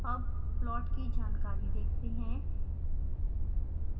अब plot की जानकारी देखते हैं